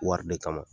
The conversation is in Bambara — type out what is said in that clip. Wari de kama